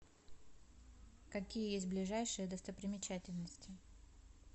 какие есть ближайшие достопримечательности